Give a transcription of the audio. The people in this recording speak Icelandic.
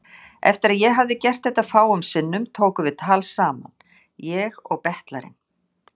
Eftir að ég hafði gert þetta fáum sinnum tókum við tal saman, ég og betlarinn.